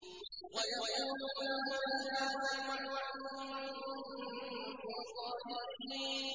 وَيَقُولُونَ مَتَىٰ هَٰذَا الْوَعْدُ إِن كُنتُمْ صَادِقِينَ